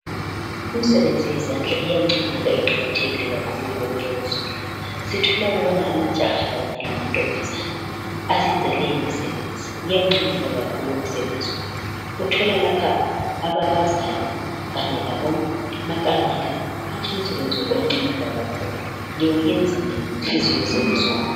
Imisebenzi yezandla iyancomeka iqakathekile kakhulu kuwonke uzulu. Sithola ukubana amajaha kanye lamantombazane eyenza leyi imisebenzi. Uyancomeka kakhulu umsebenzi wabo. Uthola lapha ababazayo kanye labomakanika, hatshi umsebenzi wenu uyancomeka kakhulu, liwuyenza ngenhliziyo zenu zonke.